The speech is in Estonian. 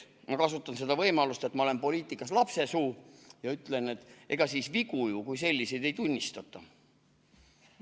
Ma kasutan seda võimalust, et ma olen poliitikas lapsesuu, ja ütlen, et ega siis vigu kui selliseid ju ei tunnistata.